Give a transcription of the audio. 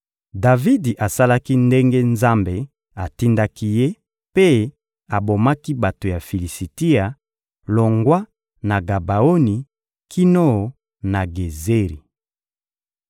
Davidi asalaki ndenge Nzambe atindaki ye mpe abomaki bato ya Filisitia, longwa na Gabaoni kino na Gezeri.